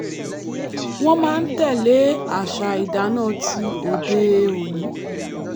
wọ́n máa ń tẹ̀lé àṣà ìdáná tí òde-òní